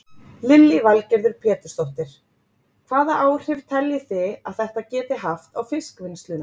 Lillý Valgerður Pétursdóttir: Hvaða áhrif telji þið að þetta geti haft á fiskvinnsluna?